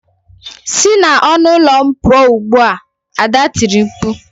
Si n'ọnụ ụlọ m pụọ ugbu a! Ada tiri mkpu.